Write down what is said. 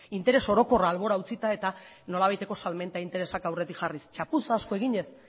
interes orokorra albora utzita eta nolabaiteko salmenta interesak aurretik jarriz txapuza asko eginez